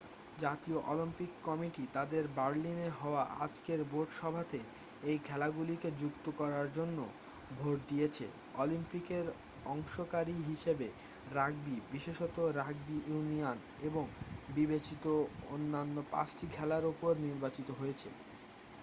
জাতীয় Olympic committee তাদের বার্লিনে হওয়া আজকের বোর্ড সভাতে এই খেলাগুলিকে যুক্ত করার জন্য ভোট দিয়েছে অলিম্পিকে অংশকারি হিসাবে রাগবি বিশেষত রাগবি ইউনিয়ন এবং বিবেচিত অন্যান্য পাঁচটি খেলার ওপরে নির্বাচিত হয়েছে